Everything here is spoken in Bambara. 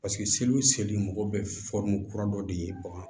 Paseke seliw seli mɔgɔ bɛ kura dɔ de ye bagan